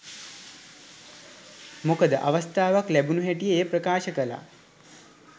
මොකද අවස්ථාවක් ලැබුණ හැටියෙ එය ප්‍රකාශ කළා.